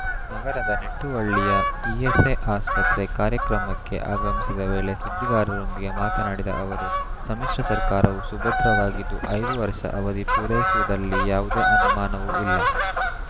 ನಗರದ ನಿಟುವಳ್ಳಿಯ ಇಎಸ್‌ಐ ಆಸ್ಪತ್ರೆ ಕಾರ್ಯಕ್ರಮಕ್ಕೆ ಆಗಮಿಸಿದ್ದ ವೇಳೆ ಸುದ್ದಿಗಾರರೊಂದಿಗೆ ಮಾತನಾಡಿದ ಅವರು ಸಮ್ಮಿಶ್ರ ಸರ್ಕಾರವು ಸುಭದ್ರವಾಗಿದ್ದು ಐದು ವರ್ಷ ಅವಧಿ ಪೂರೈಸುವುದಲ್ಲಿ ಯಾವುದೇ ಅನುಮಾನವೂ ಇಲ್ಲ